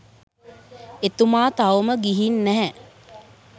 එතුමා තවම ගිහින් නැහැ